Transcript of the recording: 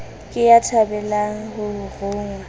ke ya thabelang ho rongwa